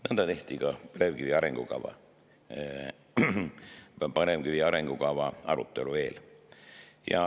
Nõnda tehti ka põlevkivi arengukava arutelu eel.